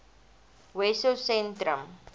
wessosentrum